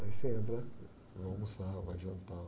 Aí você entra, vai almoçar, vai jantar.